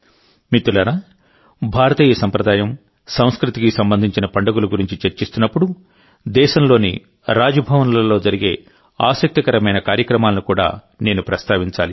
మిత్రులారాభారతీయ సంప్రదాయం సంస్కృతికి సంబంధించిన పండుగల గురించి చర్చిస్తున్నప్పుడుదేశంలోని రాజ్ భవన్లలో జరిగే ఆసక్తికరమైన కార్యక్రమాలను కూడా నేను ప్రస్తావించాలి